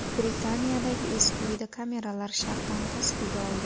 Britaniyadagi eski uyda kameralar sharpani tasvirga oldi .